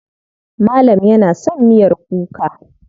Malam yana son miyar kuka.